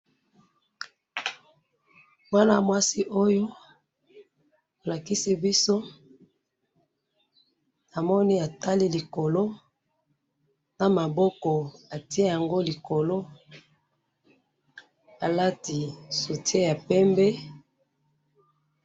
Mwana mwasi oyo bolakisi biso ,namoni atali likolo ,na maboko atie yango likolo alati soutien ya pembe